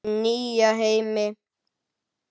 Nýja heimi?